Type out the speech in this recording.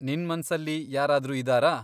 ನಿನ್ ಮನ್ಸಲ್ಲಿ ಯಾರಾದ್ರೂ ಇದಾರಾ?